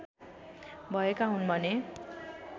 भएका हुन् भने